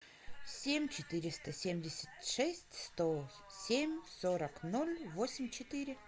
семь четыреста семьдесят шесть сто семь сорок ноль восемь четыре